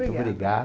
obrigada. obrigado.